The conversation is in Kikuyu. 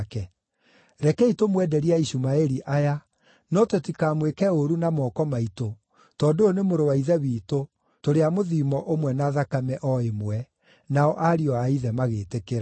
Rekei tũmwenderie Aishumaeli aya, no tũtikamwĩke ũũru na moko maitũ, tondũ ũyũ nĩ mũrũ wa ithe witũ, tũrĩ a mũthiimo ũmwe na thakame o ĩmwe.” Nao ariũ a ithe magĩtĩkĩra.